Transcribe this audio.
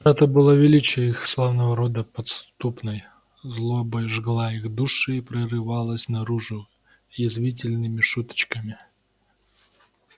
утрата былого величия их славного рода подспудной злобой жгла их души и прорывалась наружу язвительными шуточками